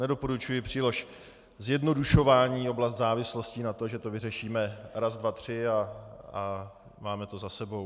Nedoporučuji příliš zjednodušovat oblast závislostí na to, že to vyřešíme raz dva tři a máme to za sebou.